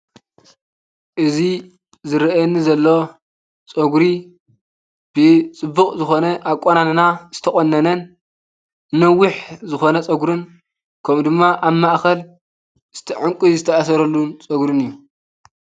እዙይ ዝርኣየኒ ዘሎ ፀጉሪ ብፅቡቅ ዝኾነ ኣቆናንና ዝተቆነነ ነዊሕ ዝኾነ ፀጉርን ከምኡ ድማ ኣብ ማኸእል ምስቲ ዕንቚ ዝተኣሰረሉን ፀጉርን እዩ።